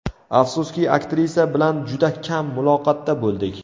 Afsuski, aktrisa bilan juda kam muloqotda bo‘ldik.